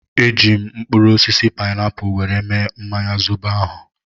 Eji m mkpụrụ osisi painapu were mee mmanya zobo ahụ